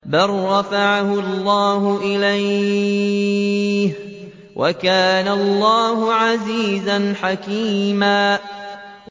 بَل رَّفَعَهُ اللَّهُ إِلَيْهِ ۚ وَكَانَ اللَّهُ عَزِيزًا حَكِيمًا